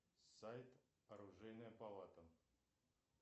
сайт оружейная палата